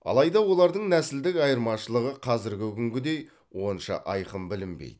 алайда олардың нәсілдік айырмашылығы қазіргі күнгідей онша айқын білінбейді